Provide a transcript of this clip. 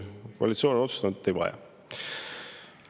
Koalitsioon on otsustanud, et ei vaja.